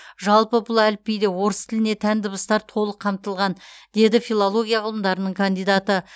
жалпы бұл әліпбиде орыс тіліне тән дыбыстар толық қамтылған деді филология ғылымдарының кандидаты